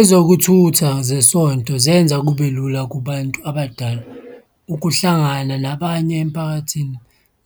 Ezokuthutha zesonto zenza kube lula kubantu abadala ukuhlangana nabanye emphakathini.